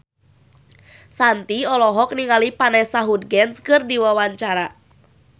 Shanti olohok ningali Vanessa Hudgens keur diwawancara